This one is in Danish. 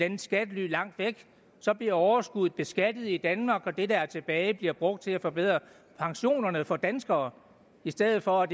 andet skattely langt væk så bliver overskuddet beskattet i danmark og det der er tilbage bliver brugt til at forbedre pensionerne for danskere i stedet for at